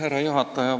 Härra juhataja!